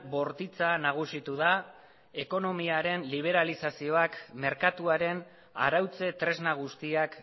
bortitza nagusitu da ekonomiaren liberazioak merkatuaren arautze tresna guztiak